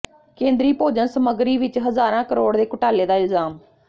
ਕੇਂਦਰੀ ਭੋਜਨ ਸਮਗਰੀ ਵਿਚ ਹਜ਼ਾਰਾਂ ਕਰੋੜ ਦੇ ਘੁਟਾਲੇ ਦਾ ਇਲਜ਼ਾਮ